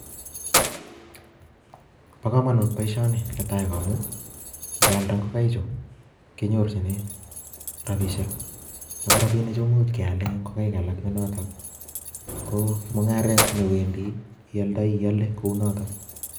Bokamanut boishoni netai ko amun ngealda ingokaik chu kenyorjine robishek Ako robinichu kemuch keale ingokaik alak nenotok ko mungaret newendi ialdai, iale kounotok